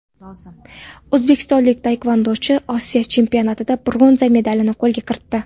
O‘zbekistonlik taekvondochi Osiyo chempionatida bronza medalni qo‘lga kiritdi.